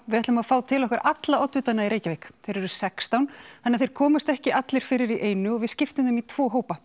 við ætlum að fá til okkar alla oddvitana í Reykjavík þeir eru sextán þannig að þeir komast ekki allir fyrir í einu og við skiptum þeim í tvo hópa